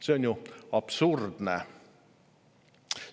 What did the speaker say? See on ju absurdne!